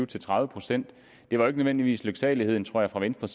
til tredive procent det var ikke nødvendigvis en lyksalighed tror jeg for venstre